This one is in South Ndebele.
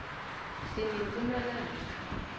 sinepumalanga